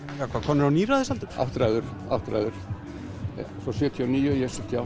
hvað komnir á níræðisaldur áttræður áttræður svo sjötíu og níu og ég er sjötíu